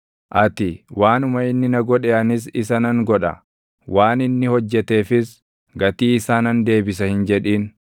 Ati, “Waanuma inni na godhe anis isa nan godha; waan inni hojjeteefis gatii isaa nan deebisa” hin jedhin.